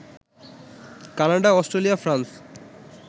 Canada, Australia, France